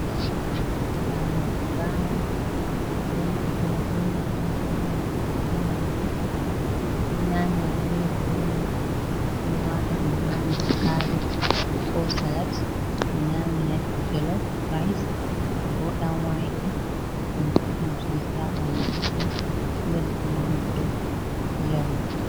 Paliji bama ɓedo naftira beman on hawatiki ha nyamdu, do nyamira bredi be man ɓedo wata dum hader kabej ko salat be nyamira jolof rice ko danwake boɗdum sosai ha bandu goɗdo do beddina goɗɗo jamu.